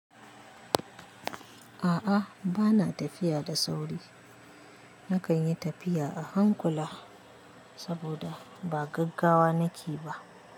A'a ba na tafiya da sauri. Nakan yi tafiya a hankula saboda ba gaggawa nake ba.